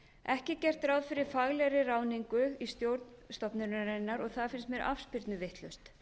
ekki er gert ráð fyrir faglegri ráðningu í stjórn stofnunarinnar og það finnst mér afspyrnu vitlaust